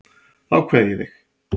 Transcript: Þá kveð ég þig.